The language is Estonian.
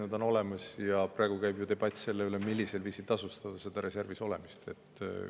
Nad on olemas ja praegu käib ju debatt selle üle, millisel viisil tasustada reservis olemist.